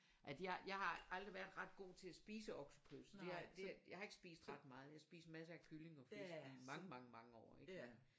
At jeg jeg har aldrig været ret god til at spise oksekød så det har det jeg har ikke spist ret meget jeg spist massere af kylling og fisk i mange mange mange år ik og